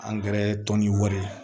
tɔnni wari ye